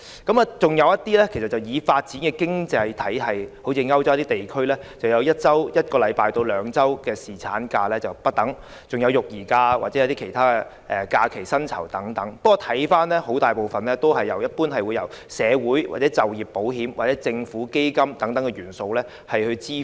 再來就是一些已發展的經濟體系如歐洲地區，他們的侍產假則由1周至2周不等，還有育兒假或其他假期薪酬等，不過很大部分是由社會保險、就業保險或政府基金等元素來支付。